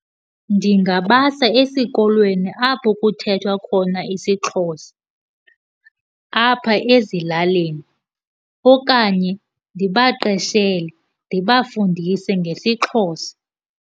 Ndingabasa esikolweni apho kuthethwa khona isiXhosa apha ezilalini okanye ndibaqeshele, ndibafundise ngesiXhosa.